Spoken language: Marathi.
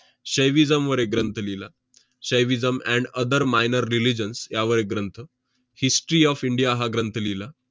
saivism वर एक ग्रंथ लिहिला, saivism and other minor religions यावर एक ग्रंथ, history of इंडिया हा ग्रंथ लिहिला.